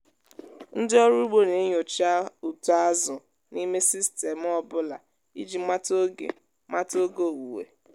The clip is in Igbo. ndị ọrụ ugbo na-enyocha uto azụ n'ime sistemụ ọ bụla iji mata oge mata oge owuwe.